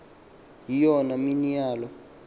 yiyona mini yaloo